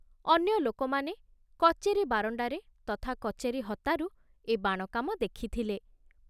ଅନ୍ୟ ଲୋକମାନେ କଚେରୀ ବାରଣ୍ଡାରେ ତଥା କଚେରୀ ହତାରୁ ଏ ବାଣ କାମ ଦେଖିଥିଲେ।